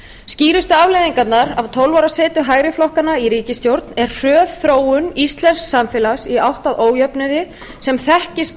skýrustu afleiðingarnar af tólf ára setu hægri flokkanna í ríkisstjórn er hröð þróun íslensks samfélags í átt að ójöfnuði sem þekkist